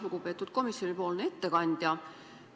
Lugupeetud komisjonipoolne ettekandja!